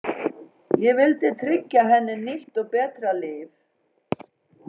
Ég vildi tryggja henni nýtt og betra líf.